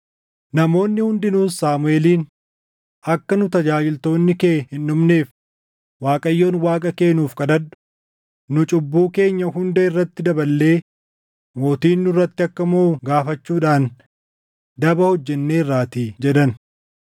Namoonni hundinuus Saamuʼeeliin, “Akka nu tajaajiltoonni kee hin dhumneef Waaqayyoon Waaqa kee nuuf kadhadhu; nu cubbuu keenya hunda irratti daballee mootiin nurratti akka moʼu gaafachuudhaan daba hojjenneerraatii” jedhan.